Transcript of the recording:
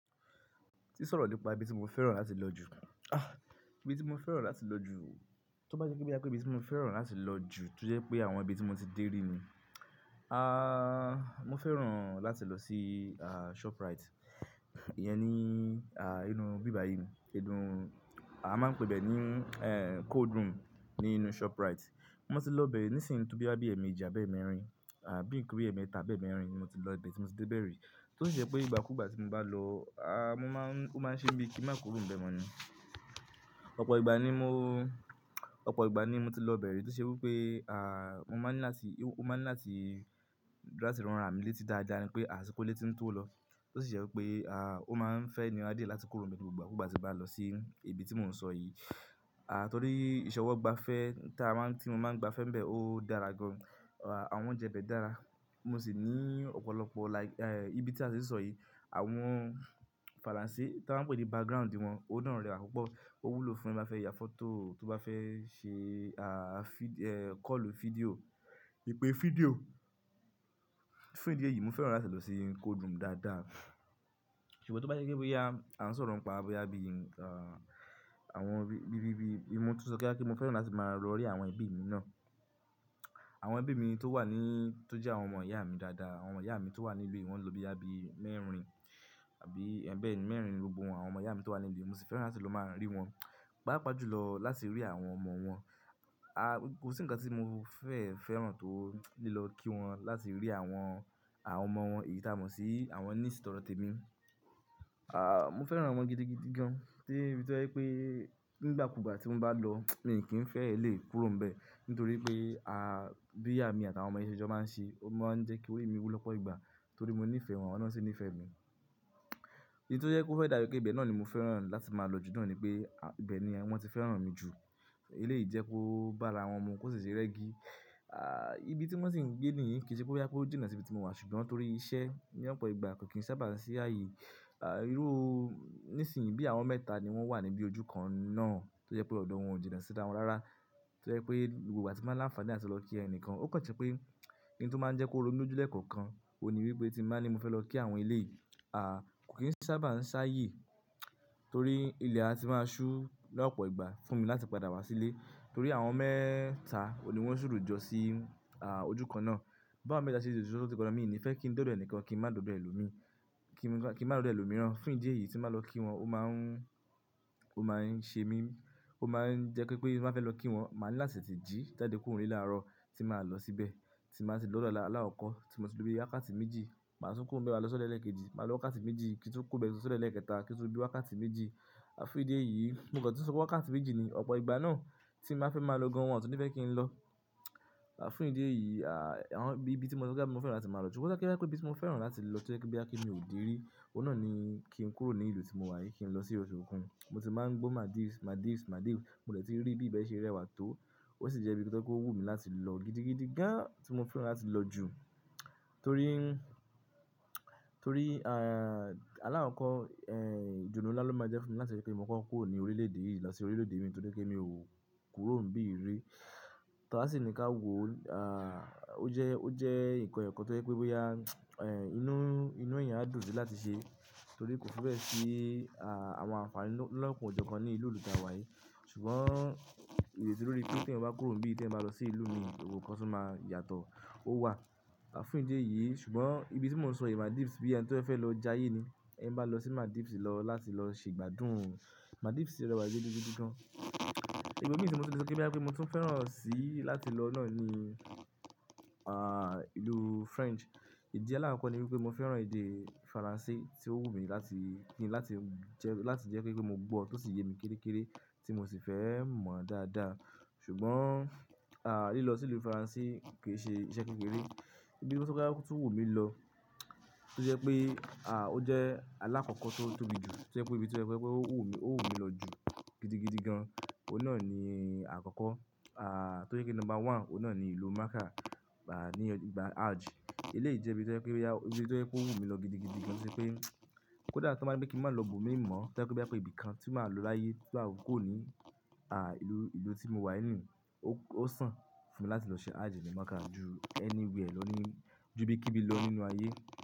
Ti sọ̀rọ̀ nípa ibi tí mo fẹ́ràn láti lọ jù. Ibi tí mo fẹ́ràn láti lọ jù, tó bá jẹ́ pe n bá yá pé ibi tí mo fẹ́ràn láti lọ jù, tún jẹ́ pé àwọn ibi tí mo ti dé rí ni. Ah, mo fẹ́ràn láti lọ sí, ah, Shoprite. Ìyẹn ni, ah, inú íbá yìí ni, ìdun-, a máa ń pe bẹ́ẹ̀ ní, eh, cold room ní inú Shoprite. Mo ti lọ bẹ́ẹ̀ ní ìsìn tó boya bí àbí ẹ̀ẹ̀mẹ́jì, àbí ẹ̀ẹ̀mẹ́rin, àbí ki ri ẹ̀ẹ̀mẹ́ta, àbí ẹ̀ẹ̀mẹ́rin ni mo ti lọ ibe tí mo ti dé ibẹ̀ rí. Tó sì jẹ́ pé ìgbàkúgbà tí mo bá lọ, ah, mo máa ń-- ó máa ń ṣe mí bi kí n màá kúrò ń bẹ mọ́ ni. Opo igba ni mo- opo igba ni mo ti lo ibe ri, to se wipe ah mo maa ni lati, o maa ni lati- lati ran ara mi leti daadaa wipe ah, asiko ile ti n to lo. Tó sì jẹ́ wipé, ah, ó máa ń fẹ́ nira die láti kúrò nbe ni gbogbo ìgbàkugba tí mo bá lọ sí ibi tí mò ń sọ yìí. Ah, torí ìṣọwọ́-gba-fẹ́ tí a máa ń, tí mo máa ń gbafẹ́ ń bẹ ó dára gan. Ah, àwọn oúnjẹ bẹ́ẹ̀ dára. Mo sì ní ọ̀pọ̀lọpọ̀ like, eh, ibi tí a ti ń sọ yìí, àwọn Faransé tan maa ń pè pé background wọn, ó naa rẹ́wa pupọ́. Ó wúlò fún ẹni bá fẹ́ ya fọ́tò, tó bá fẹ́ ṣe, ah, vid-- eh, call video, ìpè fídíò. Fún ìdí èyí mo fẹ́ràn láti lọ sí cold room dáadáa. Ṣùgbọ́n tó bá jẹ́ pe bo yá, à ń sọ̀rọ̀ ń pa, bóyá bí, ah, àwọn bi-bi-bi, mo tún sọ pe boya pé mo fẹ́ràn láti máa lọ rí àwọn ẹbí mi náà. Àwọn ẹbí mi tó wà ní, tó jẹ́ àwọn ọmọ ìyá mi dáadáa, àwọn ìyá mi tó wà nílùú yìí, wọ́n ń lọ bí àbí mẹ́rin, àbí ẹ̀ bẹ́ẹ̀ ni mẹ́rin ni gbogbo àwọn ọmọ ìyá mi tó wà nílùú yìí. Mo sì fẹ́ràn láti lọ máa rí wọn, pàápàá jùlọ láti rí àwọn ọmọ wọn. Ah, kò sí ǹkan tí mo fẹ́ fẹ́ràn tó lilọ kí wọn láti rí àwọn, àwọn ọmọ wọn eyìí tí a mọ̀ sí àwọn niece tọdọ témi. Ah, mo fẹ́ràn wọn gidigidi gan, de íbi tó jẹ́ pé nígbàkúgbà tí won bá lọ, mi o kì n fẹ́ lè kúrò ń bẹ, nítorí pé, ah, bí emi àti àwọn ọmọ yẹn ṣe jọ máa ń ṣe, ó máa ń jẹ́ kí orí mi wú lọ́pọ̀ ìgbà, torí mo níìfẹ̀ẹ́ wọn, awọ́n naa sì níìfẹ́ mi. Idí tó jẹ́ kó fẹ́ dabi pé ìbẹ́ náà ni mo fẹ́ràn láti máa lọ jù náà ni pé, ah, ìbẹ́ ni wọ́n ti fẹ́ràn mi jù. Eléyìí jẹ́ kó bá ara àwọn mu, kó sì ṣe rẹ́gí. Ah, ibi tí wọ́n sì ń gbé níyìí kì í ṣe boyá pé ó jìnà sí ibi tí mo wà, ṣùgbọ́n torí iṣẹ́ ní ọ̀pọ̀ ìgbà kò kí n sábà ń ṣi áàyè. Ah, irú-- nísìnyìí bí àwọn mẹ́ta ni wọ́n wà níbí ojú kan náà tó jẹ́ pé ọ́dọ̀ wọn ò jìnà sí rá wọn rárá. Tó jẹ́ pé gbogbo ìgbà tí mo bá láǹfààní láti lọ kí ẹnìkan, ó kàn tí pé oun tó máa ń jẹ́ kó ro mi lojú lẹ́ẹ̀kọ̀kan, òun ni wípé tí n bá ni mo fẹ́ lọ kí àwọn eléyìí, ah, kò kí n sábà ń ṣáàyè, torí ilẹ̀ á ti máa ṣú lọ́pọ̀ ìgbà fún mi láti padà wá sílé. Torí àwọn mẹ́ta òní wọn ṣuru jọ sí, ojú kan náà. Báwo méta ṣe lè ṣuru sọ́jùkan, mi o ní fẹ́ kí ń de ódó ẹnìkan, kí n má dódó ẹlòmíí, kí n má d'ódó ẹlòmíràn. Fún ìdí èyí tí mo bá lọ kí wọn, ó máa ń, ó máa ń ṣe mí, ó máa ń jẹ́ pé ti n bá fẹ́ lọ kí wọn, màá ní láti tete jí jade kúrò nílé láàárọ̀ tí màá lọ síbẹ̀, tí n ba tì lọ́dọ̀ ala-- aláàkọ́kọ̀ tí mo tì lo bi wákàtí méjì, màá tún kúrò n bẹ maá lọ́sọ́dọ̀ ẹ́léekejì, màá lọ wákàtí méjì kí n tun kúrò n bẹ lọ́sọ́dọ̀ ẹlẹ́ekẹta kí n tun lo bi wákàtí méjì. Fún ìdí èyí, mo kàn tun sọ pé wákàtí méjì ni ọ̀pọ̀ ìgbà náà tí mo ba fẹ́ máa lọ gan wọn o tun ní fẹ́ kí n lọ. Àfún ìdí èyí, ah, àwọn bi-bi tí mo sọ pé kíá mo fẹ́ràn láti máa lọ jù, bóyá kíá pé ibi tí mo fẹ́ràn láti lọ tó jẹ́ kíá kí mi ò dé rí, òun náà ni kí n kúrò ní ìlú tí mo wà yìí, kí n lọ sí oṣù Òkun. Mo ti máa ń gbó Maldives, Maldives, Maldives, mo lè tí rí bí bẹ́ẹ̀ ṣe rẹwà tó. Ó sì jẹ́ bí tó jẹ́ po wú mi láti lọ gidigidi gan tí mo fẹ́ràn láti lọ jù. Torí, torí, ah, alákoko, eh, idunnu nla lo máa jẹ́ fún mi láti rí pé mo koko kúrò ní orílẹ̀-èdè yìí lọ sí orílẹ̀-èdè mìíràn torí pé mi ò kúrò ń bí rii. To á sì ni ká wo, ah, ó jẹ́, ó jẹ́ ǹkan eyokan tó jẹ́ pé bóyá, eh, inú, inú èèyàn á dùn sí láti ṣe, torí kò fibe si, ah, àwọn àǹfàní lọ́koan o jọ kan ní ìlú lù ta wà yìí. Ṣùgbọ́n ìrètí lórí pé tí ẹ̀yań bá kúrò ń bí, tí ẹ̀yań bá lọ sí ìlú mìíràn, gbogbo nkan tun máa yàtọ̀, ó wà. Àfún ìdí èyí, ṣùgbọ́n ibi tí mò ń sọ yìí Maldives bí ẹni tí ó fẹ́ lọ jayé ni. Ẹ bá lọ sí Maldives lọ láti lọ ṣe ìgbádùn. Maldives sì rẹwà gidigidi gan. Ibomi tí mo tun le sọ pé boya pe mo tún fẹ́ràn sí láti lọ náà ni, ah, ìlú French. Ìdí alákoko ni wípé mo fẹ́ràn èdè Faransé tí ó wú mi láti kí n láti jẹ́, láti jẹ́ pe mo gbọ́ tó sì yé mi kéré kéré tí mo sì fẹ́ mọ̀ dáadáa. Ṣùgbọ́n, ah, lílọ sí ìlú Faransé kì í ṣe iṣẹ́ kékeré. Ibi tí mo sọ kíá tó wú mi lọ, tó jẹ́ pé, ah, ó jẹ́ aláàkọ́kọ́ tó tóbi jù, tó jẹ́ pé ibi tí ó fẹ́ pé ó wú mi, ó wú mi lọ jù gidigidi gan, òun náà ni àkọ́kọ́. Ah, tó jẹ́ pé number one òun náà ni ìlú Mecca, ah, ní ìgbà Hajj. Eléyìí jẹ́ ibi tó jẹ́ pé, ibi tó jẹ́ ó wú mi lọ gidigidi gan torí pé kó dà tọ́ máa bí pé kí n má lọ ibòmíì mọ̀, tọ́ je pé boya ibi kan tí màá lọ láyé tí mà fi kúrò ní, ah, ìlú, ìlú tí mo wà yìí ni, ó, ó sàn fún mi láti lọ ṣe Hajj ní Mecca ju anywhere lọ ní, ju bí kíbi lọ nínú ayé.